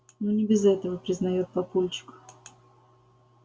ну не без этого признаёт папульчик